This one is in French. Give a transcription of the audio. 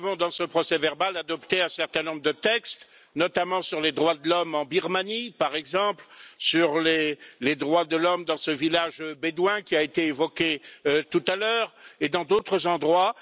Dans ce procès verbal, nous avons adopté un certain nombre de textes, notamment sur les droits de l'homme en Birmanie, par exemple, et sur les droits de l'homme dans ce village bédouin qui a été évoqué tout à l'heure, et dans d'autres endroits.